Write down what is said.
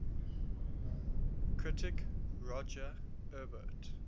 critic roger ebert